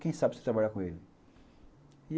Quem sabe você vai trabalhar com ele.